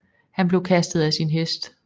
Han blev kastet af sin hest